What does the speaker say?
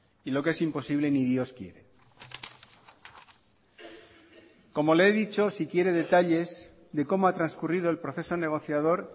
y lo que es imposible ni dios quiere como le he dicho si quiere detalles de cómo ha transcurrido el proceso negociador